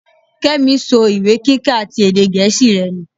Kémi so ìwé kíka ti èdè gẹ̀ẹ́sì rẹ nù.